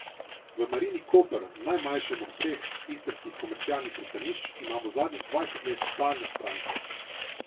V Marini Koper, najmanjšem od treh istrskih komercialnih pristanišč, imajo zadnjih dvajset let stalne stranke.